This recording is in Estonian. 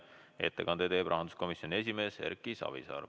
Ettekande teeb rahanduskomisjoni esimees Erki Savisaar.